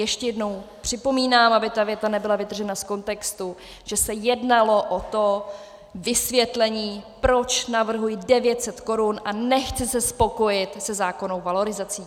Ještě jednou připomínám, aby ta věta nebyla vytržena z kontextu, že se jednalo o to vysvětlení, proč navrhuji 900 korun a nechci se spokojit se zákonnou valorizací.